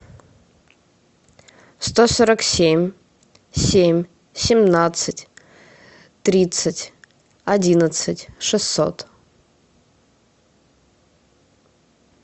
сто сорок семь семь семнадцать тридцать одиннадцать шестьсот